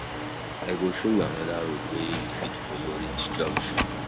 I go show you anoda road wey you fit folo reach junction.